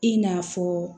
I n'a fɔ